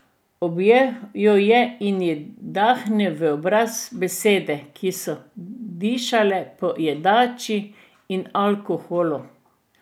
Objel jo je in ji dahnil v obraz besede, ki so dišale po jedači in alkoholu.